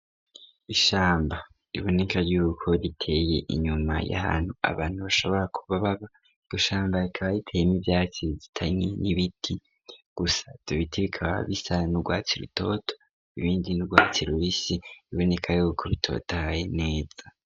Ishamba riboneka yuko riteye inyuma y'ahantu abantu bashobora kuba baba, iryo shamba rikaba riteyemwo ivyatsi bizitanye n'ibiti, gusa ivyo biti bikaba bisa n'urwatsi rutoto ibindi n'urwatsi rubisi biboneka yuko bitotahaye neza.